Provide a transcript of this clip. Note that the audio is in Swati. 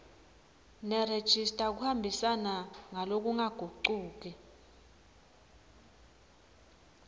nerejista kuhambisana ngalokungagucuki